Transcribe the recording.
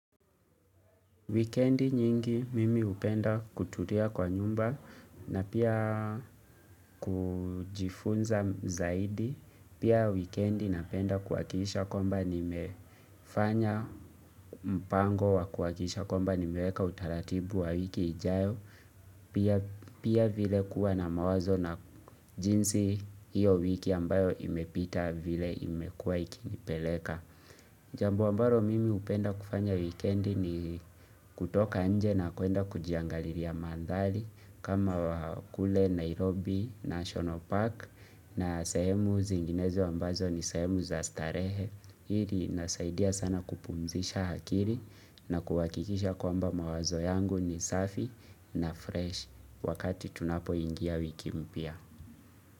Wikendi nyingi mimi hupenda kutulia kwa nyumba na pia kujifunza zaidi. Pia weekendi napenda kuhakikisha kwamba nimefanya mpango wa kuhakikisha kwamba nimeweka utaratibu wa wiki ijayo. Pia vile kuwa na mawazo na jinsi hiyo wiki ambayo imepita vile imekua ikinipeleka. Jambu ambalo mimi hupenda kufanya wikendi ni kutoka nje na kuenda kujiangalilia mandhari kama kule Nairobi, National Park na sehemu zinginezo ambazo ni sehemu za starehe. Hi linasaidia sana kupumzisha akili na kuhakikisha kwamba mawazo yangu ni safi na fresh wakati tunapoingia wiki mpya.